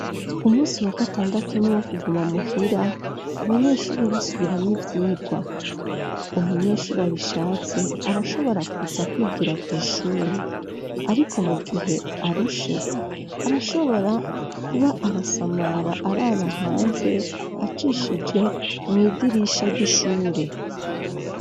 Umunsi wa gatandatu, ni uwo kuguma muhira, abanyeshure basubiramwo ivyigwa; umunyeshure abishatse, arashobora kuza kwigira kw'ishure; ariko, mugihe arushe, arashobora kuba arasamara, araba hanze, acishije mw'idirisha ry'ishure.